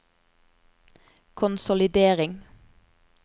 konsolidering